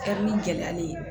Kɛ ni gɛlɛyalen ye